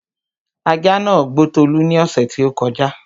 ajá nàá gbó Tolú ní ọ̀ṣẹ̀ tí ó kọjá